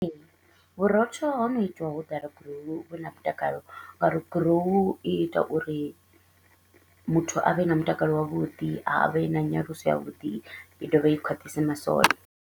Ee, vhurotho ho no itiwa hu ḓala grow hu vhe na mutakalo, nga uri grow hu ita uri muthu a vhe na mutakalo wavhuḓi, a vhe na nyaluso ya vhuḓi, i dovhe i khwaṱhise masole.